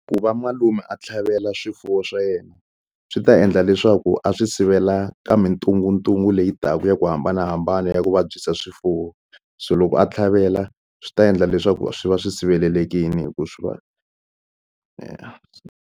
Ku va malume a tlhavela swifuwo swa yena swi ta endla leswaku a swi sivela ka mintunguntungu leyi taka ya ku hambanahambana ya ku vabyisa swifuwo so loko a tlhavela swi ta endla leswaku swi va swi sirhelelekile hikuva swi va .